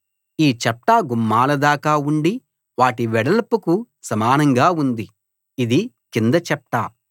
ఈ చప్టా గుమ్మాలదాకా ఉండి వాటి వెడల్పుకు సమానంగా ఉంది ఇది కింది చప్టా